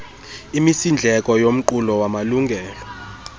imisindleko yomqulu wamalungelo